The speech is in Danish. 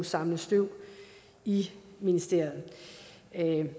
samle støv i ministeriet